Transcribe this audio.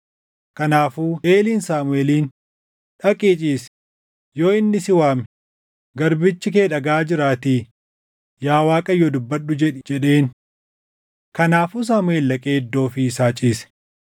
Kanaafuu Eeliin Saamuʼeeliin, “Dhaqii ciisi; yoo inni si waame, ‘Garbichi kee dhagaʼaa jiraatii yaa Waaqayyo dubbadhu’ jedhi” jedheen. Kanaafuu Saamuʼeel dhaqee iddoo ofii isaa ciise.